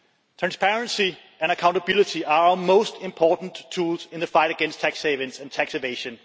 Transparency and accountability are our most important tools in the fight against tax havens and tax evasion.